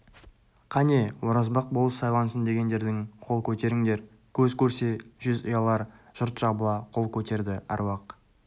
қане оразбақ болыс сайлансын дегендерің қол көтеріңдер көз көрсе жүз ұялар жұрт жабыла қол көтерді аруақ